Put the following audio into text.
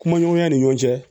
Kuma ɲɔgɔnya ni ɲɔgɔn cɛ